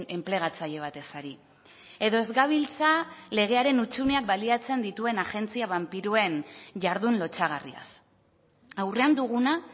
enplegatzaile batez ari edo ez gabiltza legearen hutsuneak baliatzen dituen agentzia banpiroen jardun lotsagarriaz aurrean duguna